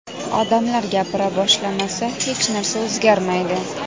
Odamlar gapira boshlamasa, hech narsa o‘zgarmaydi.